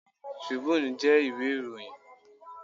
Tribune jẹ́ ìwé ìròyìn.